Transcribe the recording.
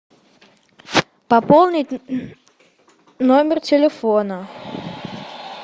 пополнить номер телефона